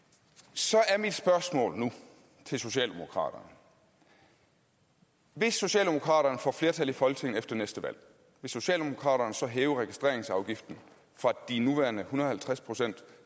så er mit spørgsmål nu til socialdemokraterne hvis socialdemokraterne får flertal i folketinget efter næste valg vil socialdemokraterne så hæve registreringsafgiften fra de nuværende en hundrede og halvtreds procent